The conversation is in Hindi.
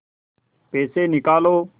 पैसे निकालो